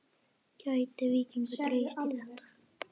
Gæti Víkingur dregist í þetta?